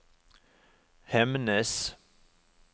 Hemnes